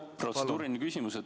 Jah, protseduuriline küsimus.